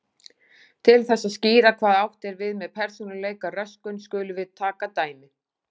Til þess að skýra hvað átt er við með persónuleikaröskun skulum við taka dæmi.